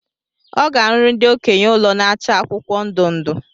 Ọ ga- arụrụ ndi okenye ụlọ na-acha akwụkwọ ndụ ndụ